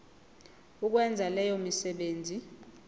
ukwenza leyo misebenzi